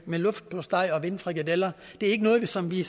med luftsteg og vindfrikadeller det er ikke noget som vi